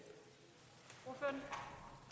det